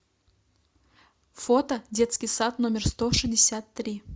фото детский сад номер сто шестьдесят три